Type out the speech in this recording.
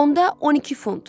Onda 12 funt.